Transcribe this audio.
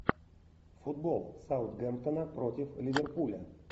футбол саутгемптона против ливерпуля